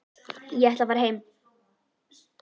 Ég ætla að fara heim.